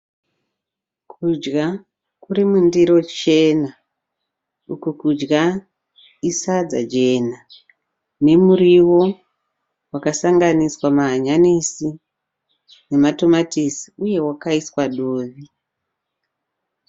Kudya kuri mundiro chena, uku kudya isadza jena nemuriwo wakasanganiswa mahanyanisi nematomatisi uye wakaiswa dovi.